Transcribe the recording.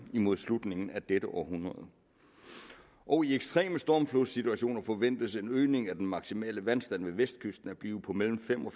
imod slutningen af dette århundrede og i ekstreme stormflodssituationer forventes en øgning af den maksimale vandstand ved vestkysten at blive på mellem fem og